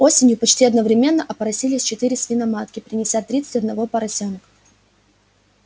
осенью почти одновременно опоросились четыре свиноматки принеся тридцать одного поросёнка